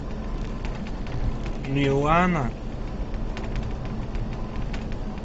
милана